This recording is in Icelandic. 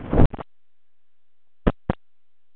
Faðir hans leit um öxl við marrið.